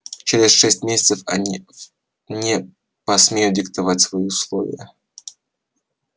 через шесть месяцев они не посмеют диктовать свои условия